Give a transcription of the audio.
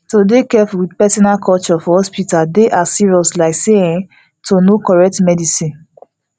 to dey careful with persona culture for hospital dey as serious like say um to know correct medicine